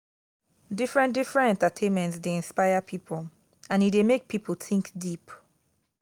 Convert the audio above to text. different different entertainments de inspire pipo and e de make pipo think deep